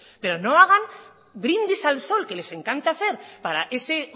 pero no hagan brindis al sol que les encanta hacer para ese